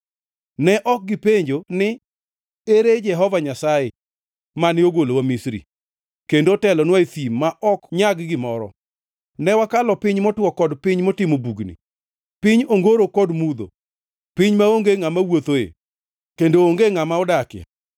Ne ok gipenjo ni, ‘Ere Jehova Nyasaye, mane ogolowa Misri, kendo otelonwa e thim ma ok nyag gimoro, ka wakalo piny motwo kod piny motimo bugni, piny ongoro kod mudho, piny maonge ngʼama wuothoe, kendo onge ngʼama odakie?’